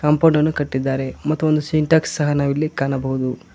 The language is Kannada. ಕಾಂಪೊಡ್ ಅನ್ನು ಕಟ್ಟಿದ್ದಾರೆ ಮತ್ತು ಒಂದು ಸಿಂಟೆಕ್ಸ್ ಸಹ ನಾವಿಲ್ಲಿ ಕಾಣಬಹುದು.